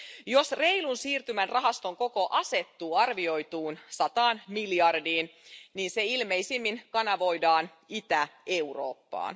Jos reilun siirtymän rahaston koko asettuu arvioituun sataan miljardiin, se ilmeisimmin kanavoidaan Itä-Eurooppaan.